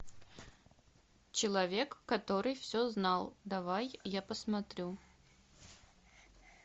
человек который все знал давай я посмотрю